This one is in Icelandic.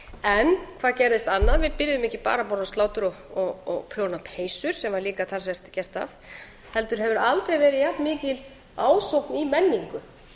líklega hvað gerðist annað við byrjuðum ekki bara að borða slátur og prjóna peysur sem var líka talsvert gert af heldur hefur aldrei verið jafnmikil ásókn í menningu